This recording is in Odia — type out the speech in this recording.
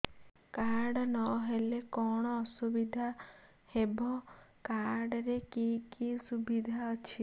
କାର୍ଡ ନହେଲେ କଣ ଅସୁବିଧା ହେବ କାର୍ଡ ରେ କି କି ସୁବିଧା ଅଛି